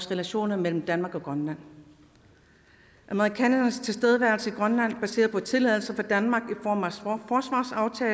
relationerne mellem danmark og grønland amerikanernes tilstedeværelse i grønland baseret på tilladelse fra danmark